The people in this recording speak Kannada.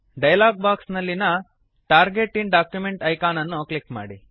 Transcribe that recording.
ಡಯಲಾಗ್ ಬಾಕ್ಸ್ ನಲ್ಲಿನ ಟಾರ್ಗೆಟ್ ಇನ್ ಡಾಕ್ಯುಮೆಂಟ್ ಐಕಾನ್ ಅನ್ನು ಕ್ಲಿಕ್ ಮಾಡಿ